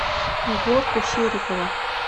егорку серикова